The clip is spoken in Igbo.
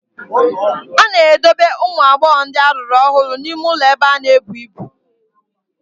A na-edobe ụmụ agbọghọ ndị lụrụ ọhụrụ n'ime ụlọ ebe ha na-ebu ibu.